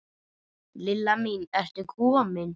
Lilla mín, ertu komin?